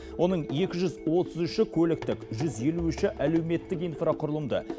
оның екі жүз отыз үші көліктік жүз елу үші әлеуметтік инфрақұрылымды